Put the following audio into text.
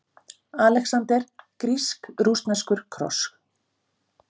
ALEXANDER: Grísk-rússneskur kross!